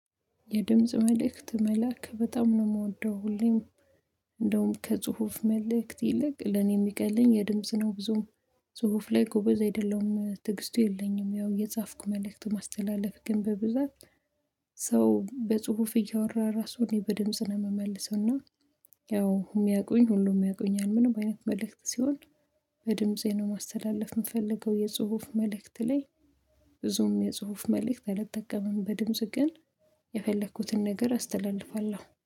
የድምጽ መልእክት መላክ በጣም ነው የምወደው። ሁሌም እንደውም ከጽሁፍ መልእክት ይልቅ ለኔ የሚቀለኝ የድምጽ ነው። ብዙም ጽሁፍ ላይ ጎበዝ አይደለሁም። ትግስቱ የለኝም፤ ያው እየጻፍኩ መልእክት ማስተላለፍ። ግን በብዛት ሰው በጽሁፍ እያወራ ራሱ፤ እኔ በድምጽ ነው የምመልሰው። እና ያው የሚያውቁኝ ሁሉም ያውቁኛል። ምንም አይነት መልእክት ሲሆን በድምፄ ነው ማስተላለፍ የምፈልገው። የጽሁፍ መልእክት ላይ ብዙም የጽሁፍ መልእክት አልጠቀምም። በድምጽ ግን የፈለኩትን ነገር አስተላልፋለሁ።